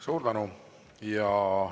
Suur tänu!